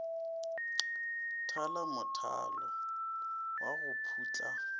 thala mothalo wa go putla